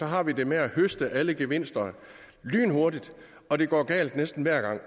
har vi det med at høste alle gevinsterne lynhurtigt og det går galt næsten hver gang